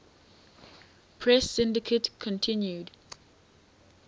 press syndicate continued